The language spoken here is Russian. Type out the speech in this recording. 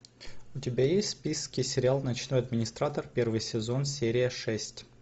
у тебя есть в списке сериал ночной администратор первый сезон серия шесть